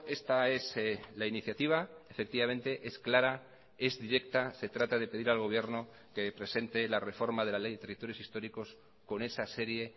esta es la iniciativa efectivamente es clara es directa se trata de pedir al gobierno que presente la reforma de la ley de territorios históricos con esa serie